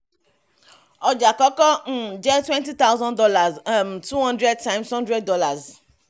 ọjà àkọ́kọ́ um jẹ́ twenty thousand dollars um two hundred times hundred dollars